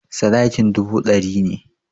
Sadakin dubu ɗari ne.